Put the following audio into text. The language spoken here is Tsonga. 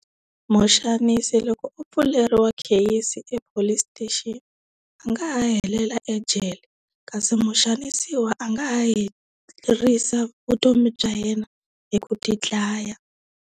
Muxanisi loko u pfuleriwile kheyisi ePolice Station a nga ha helela ejele, kasi muxanisiwa a nga ha hi herisa vutomi bya yena hi ku ti dlaya.